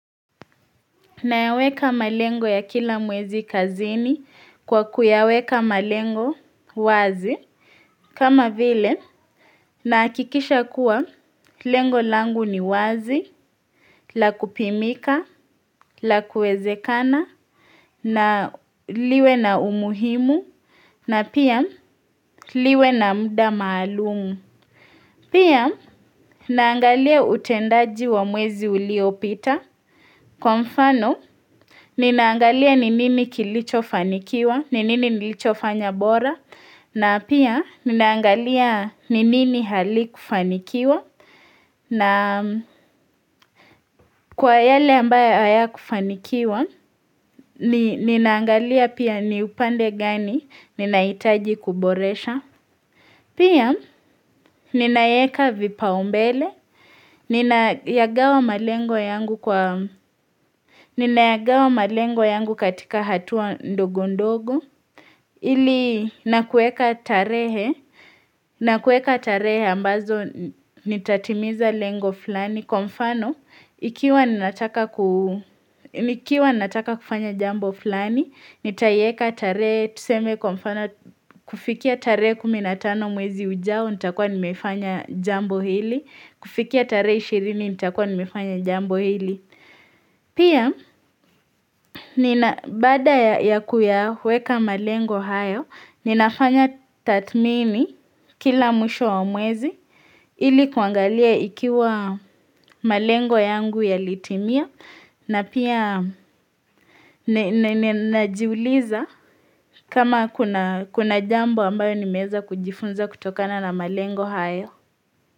Nayaweka malengo ya kila mwezi kazini kwa kuyaweka malengo wazi. Kama vile, nahakikisha kuwa, lengo langu ni wazi, la kupimika, la kuezekana, na liwe na umuhimu, na pia liwe na muda maalumu. Pia, naangalia utendaji wa mwezi uliopita. Kwa mfano, Ninaangalia ninini kilicho fanikiwa, ninini nilicho fanya bora, na pia ninaangalia ninini hali kufanikiwa, na kwa yale ambaye haya kufanikiwa, ninaangalia pia ni upande gani ninaitaji kuboresha. Pia, ninaweka vipa umbele, ninayagawa malengo yangu katika hatua ndogundogo, ili nakueka tarehe, nakueka tarehe ambazo nitatimiza lengo flani. Ni kumfano, ikiwaninataka ku ni nataka kufanya jambo fulani, ni taiweka tarehe, tuseme kwamfano, kufikia tare 15 mwezi ujao, ni takua ni mefanya jambo hili. Kufikia tare 20, ni takua ni mefanya jambo hili. Pia, baada ya kuyaweka malengo hayo, ni nafanya tathmini kila mwisho wa mwezi, Ili kuangalia ikiwa malengo yangu ya litimia na pia najiuliza kama kuna jambo ambayo ni meza kujifunza kutokana na malengo haya.